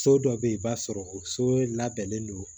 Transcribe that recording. So dɔ be yen i b'a sɔrɔ o so labɛnnen don